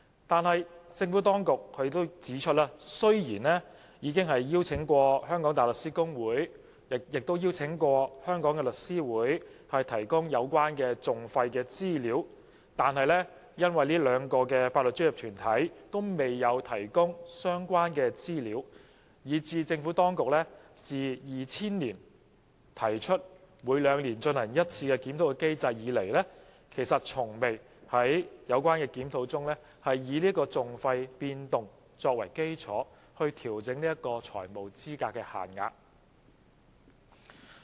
然而，政府當局指出雖然已邀請香港大律師公會和香港律師會提供有關訟費的資料，但這兩個法律專業團體均未有提供相關資料。於是，即使政府當局在2000年提出每兩年進行一次檢討的機制，多年來其實從未在有關檢討中因應訟費變動，調整財務資格限額。